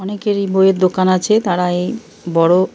অনেকেরই এই বইয়ের দোকান আছে। তারা এই বড়ো --